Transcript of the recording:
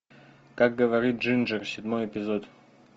как говорит джинджер седьмой эпизод